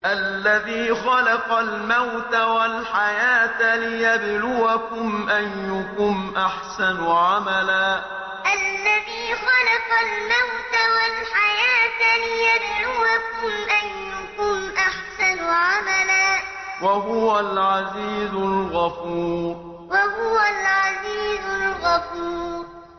الَّذِي خَلَقَ الْمَوْتَ وَالْحَيَاةَ لِيَبْلُوَكُمْ أَيُّكُمْ أَحْسَنُ عَمَلًا ۚ وَهُوَ الْعَزِيزُ الْغَفُورُ الَّذِي خَلَقَ الْمَوْتَ وَالْحَيَاةَ لِيَبْلُوَكُمْ أَيُّكُمْ أَحْسَنُ عَمَلًا ۚ وَهُوَ الْعَزِيزُ الْغَفُورُ